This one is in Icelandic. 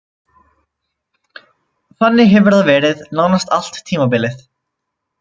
Þannig hefur það verið nánast allt tímabilið.